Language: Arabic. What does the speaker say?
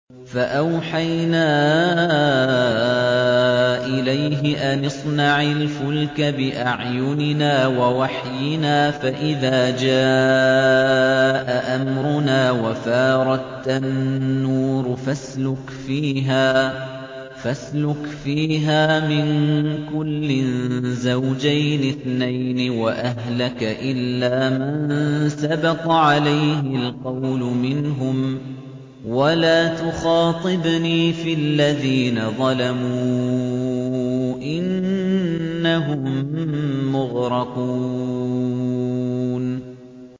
فَأَوْحَيْنَا إِلَيْهِ أَنِ اصْنَعِ الْفُلْكَ بِأَعْيُنِنَا وَوَحْيِنَا فَإِذَا جَاءَ أَمْرُنَا وَفَارَ التَّنُّورُ ۙ فَاسْلُكْ فِيهَا مِن كُلٍّ زَوْجَيْنِ اثْنَيْنِ وَأَهْلَكَ إِلَّا مَن سَبَقَ عَلَيْهِ الْقَوْلُ مِنْهُمْ ۖ وَلَا تُخَاطِبْنِي فِي الَّذِينَ ظَلَمُوا ۖ إِنَّهُم مُّغْرَقُونَ